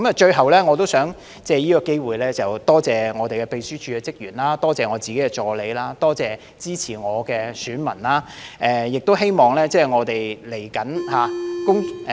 最後，我也想藉此機會，感謝我們秘書處的職員、我的助理，以及支持我的選民，亦希望未來我們......